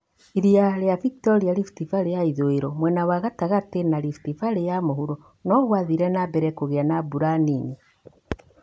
Iria ri͂a Victoria, Rift Valley ya ithu͂i͂ro, mwena wa gatagati͂ na Rift Valley ya mu͂huro no gwathire na mbere ku͂gi͂a na mbura nini.